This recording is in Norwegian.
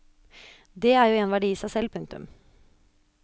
Dét er jo en verdi i seg selv. punktum